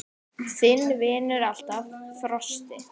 Þinn vinnur alltaf, Frosti.